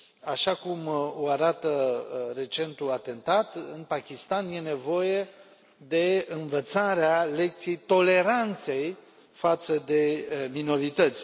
Așa cum o arată recentul atentat, în Pakistan e nevoie de învățarea lecției toleranței față de minorități.